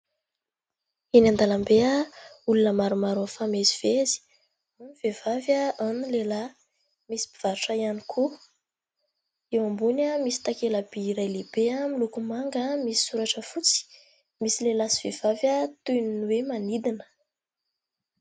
Eny an-dalambe olona maromaro mifamezivezy. Vehivavy ao ny lehilahy, misy mpivarotra ihany koa. Eo ambony misy takelaby iray lehibe miloko manga misy soratra fotsy, misy lehilahy sy vehivavy toy ny hoe manidina.